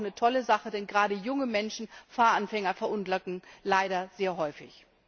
Das ist eine tolle Sache, denn gerade junge Menschen, Fahranfänger, verunglücken leider sehr häufig.